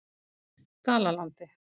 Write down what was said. Dalalandi